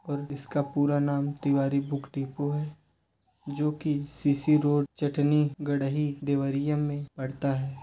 और इसका पूरा नाम तिवारी बुक डिपो है जो कि सीसी रोड चटनी गढ़ही दवरिया मे पडता है।